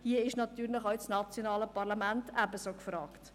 Hier ist natürlich das nationale Parlament ebenso gefragt.